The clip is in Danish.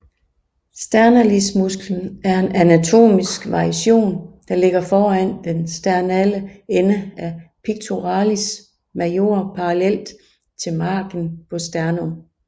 Sternalis musklen er en anatomisk variation der ligger foran den sternale ende af pectoralis major parallelt til margin på sternum